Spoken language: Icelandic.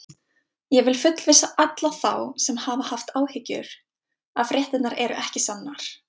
Ég vil fullvissa alla þá sem hafa haft áhyggjur að fréttirnar eru ekki sannar.